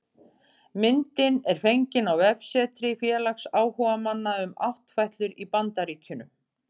Myndin er fengin á vefsetri félags áhugamanna um áttfætlur í Bandaríkjunum